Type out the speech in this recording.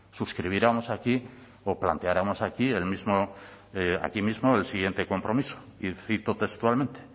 suscribiéramos aquí o planteáramos aquí mismo el siguiente compromiso y cito textualmente